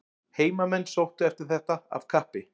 Heimamenn sóttu eftir þetta af kappi.